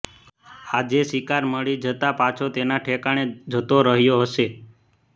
આજે શિકાર મળી જતા પાછો તેના ઠેકાણે જતો રહ્યો હશે